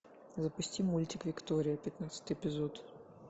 запусти мультик виктория пятнадцатый эпизод